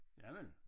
Javel